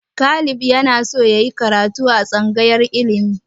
Caleb na so yayi karatu a tsangayar ilimi